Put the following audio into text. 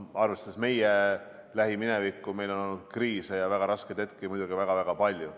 Arvestades meie lähiminevikku, meil on olnud kriise ja väga raskeid hetki muidugi väga-väga palju.